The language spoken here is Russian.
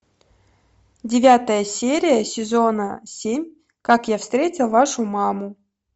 девятая серия сезона семь как я встретил вашу маму